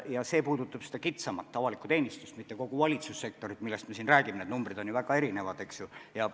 Ja see puudutab kitsamas mõttes avalikku teenistust, mitte kogu valitsussektorit, millest me siin räägime – need numbrid on ju väga erinevad, eks ju.